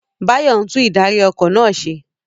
Bayo ń tún ìdarí- ọkọ̀ náà ṣe.